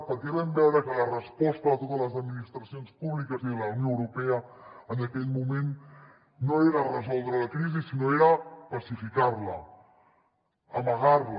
perquè vam veure que la resposta de totes les administracions públiques i de la unió europea en aquell moment no era resoldre la crisi sinó que era pacificar la amagar la